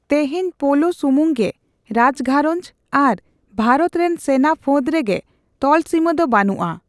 ᱛᱮᱦᱮᱧ ᱯᱳᱞᱳ ᱥᱩᱢᱩᱝᱜᱮ ᱨᱟᱡᱜᱷᱟᱨᱚᱸᱧᱡᱽ ᱟᱨ ᱵᱷᱟᱨᱚᱛ ᱨᱮᱱ ᱥᱮᱱᱟ ᱯᱷᱟᱹᱫᱽ ᱨᱮᱜᱮ ᱛᱚᱞᱥᱤᱢᱟᱹ ᱫᱚ ᱵᱟᱹᱱᱩᱜᱼᱟ